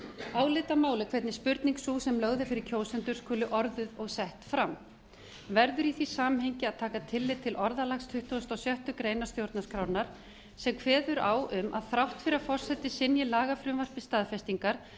álitamál er hvernig spurning sú sem lögð er fyrir kjósendur skuli orðuð og sett fram verður í því samhengi að taka tillit til orðalags tuttugasta og sjöttu grein stjórnarskrárinnar sem kveður á um að þrátt fyrir að forseti synji lagafrumvarpi staðfestingar